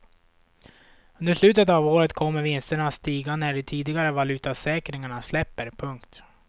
Under slutet av året kommer vinsterna att stiga när de tidigare valutasäkringarna släpper. punkt